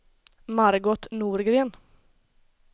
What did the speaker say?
Margot Norgren